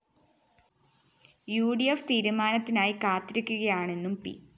ഉ D F തീരുമാനത്തിനായി കാത്തിരിക്കുകയാണെന്നും പി